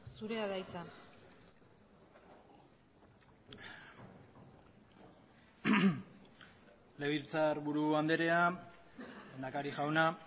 zurea da hitza legebiltzarburu andrea lehendakari jauna